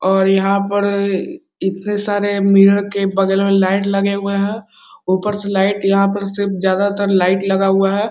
और यहाँ पर इतने सारे मिरर के बगल में लाइट लगे हुए हैं ऊपर से लाइट यहाँ पर सिर्फ ज्यादातर लाइट लगा हुआ है।